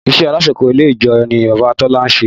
Iṣẹ́ alákòóso ilé ẹjọ́ ni Bàbá Tọ́lá ń ṣe